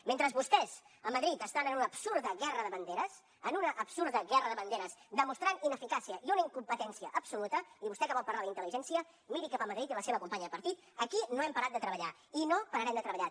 mentre vostès a madrid estan en una absurda guerra de banderes en una absurda guerra de banderes demostrant ineficàcia i una incompetència absoluta i vostè que vol parlar d’intel·ligència miri cap a madrid i la seva companya de partit aquí no hem parat de treballar i no pararem de treballar